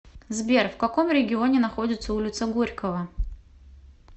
сбер в каком регионе находится улица горького